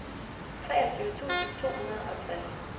treogtyve tusind to hundrede og tres